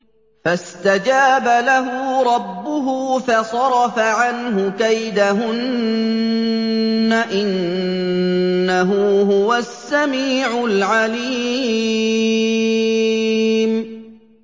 فَاسْتَجَابَ لَهُ رَبُّهُ فَصَرَفَ عَنْهُ كَيْدَهُنَّ ۚ إِنَّهُ هُوَ السَّمِيعُ الْعَلِيمُ